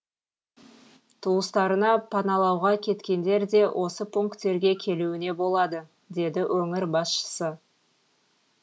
туыстарына паналауға кеткендер де осы пунктерге келуіне болады деді өңір басшысы